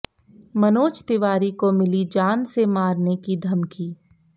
मनोज तिवारी को मिली जान से मारने की धमकी